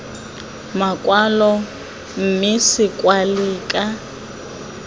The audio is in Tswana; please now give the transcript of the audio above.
makwalo mme se kwalwe ka